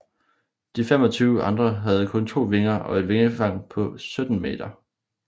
De 25 andre havde kun to vinger og et vingefang på 17 meter